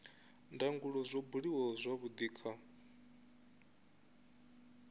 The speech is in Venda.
ndangulo zwo buliwa zwavhudi kha